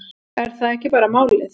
Er það ekki bara málið?